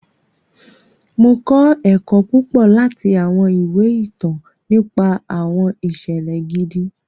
Mo kọ ẹkọ púpọ láti awọn ìwé ìtàn nípa awọn iṣẹlẹ gidi.